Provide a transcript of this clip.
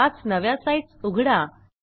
पाच नव्या साईटस उघडा